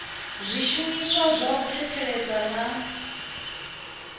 zwishumiswa zwa u thetshelesa na